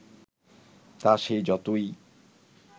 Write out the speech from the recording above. তা সে যতই